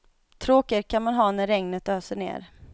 Tråkigare kan man ha när regnet öser ned.